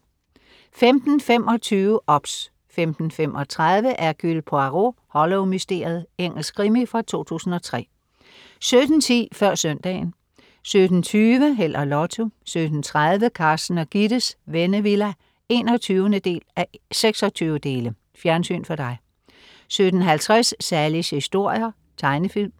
15.25 OBS 15.35 Hercule Poirot: Hollow-mysteriet. Engelsk krimi fra 2003 17.10 Før søndagen 17.20 Held og Lotto 17.30 Carsten og Gittes Vennevilla 21:26. Fjernsyn for dig 17.50 Sallies historier. Tegnefilm